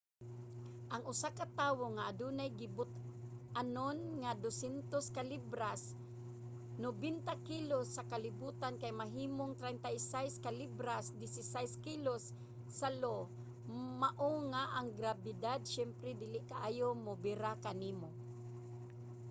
ang usa ka tawo nga adunay gibug-aton nga 200 ka libras 90 kilos sa kalibutan kay mahimong 36 ka libras 16 kilos sa io. mao nga ang grabidad siyempre dili kaayo mobira kanimo